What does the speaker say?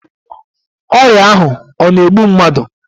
Ọrịa ahụ ọ na-egbu mmadụ?